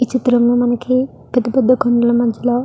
ఈ చిత్రం లో మనకి పెద్ద పెద్ద కొండల మధ్యలలో --